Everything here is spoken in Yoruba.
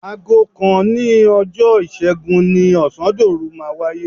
Aago kan òní ọjọ́ Ìṣẹ́gun ni ọ̀sándòru máa wáyé.